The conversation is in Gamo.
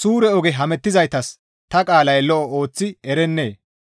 «Suure oge hemettizaytas ta qaalay lo7o ooththi erennee?